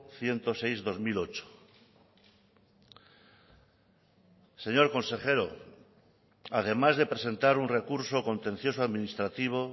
ciento seis barra dos mil ocho señor consejero además de presentar un recurso contencioso administrativo